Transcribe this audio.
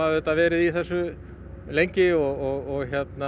verið í þessu lengi og